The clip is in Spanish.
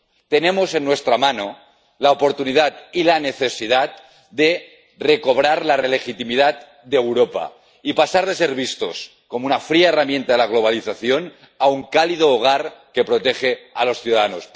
Tenemos en nuestra mano la oportunidad y la necesidad de recobrar la legitimidad de Europa y de pasar de ser vistos como una fría herramienta de la globalización a un cálido hogar que protege a los ciudadanos.